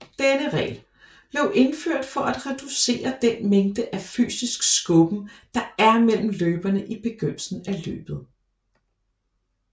Denne regel blev indført for at reducere den mængde af fysisk skubben der er mellem løberne i begyndelsen af løbet